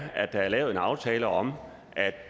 at der er lavet en aftale om